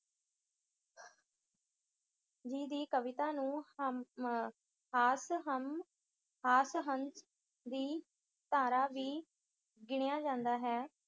ਜੀ ਦੀ ਕਵਿਤਾ ਨੂੰ ਹਮ ਅਮ ਹਾਸ-ਹਮ ਹਾਸ-ਹਸ ਦੀ ਧਾਰਾ ਵੀ ਗਿਣਿਆ ਜਾਂਦਾ ਹੈ।